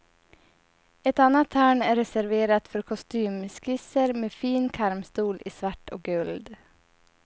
Ett annat hörn är reserverat för kostymskisser med fin karmstol i svart och guld.